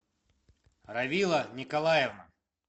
равила николаевна